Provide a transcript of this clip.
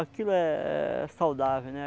Aquilo é é é saudável, né?